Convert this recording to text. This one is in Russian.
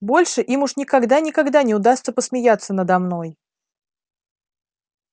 больше им уж никогда никогда не удастся посмеяться надо мной